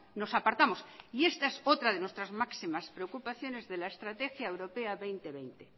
nos apartamos y esta es otra de nuestras máximas preocupaciones de la estrategia europea dos mil veinte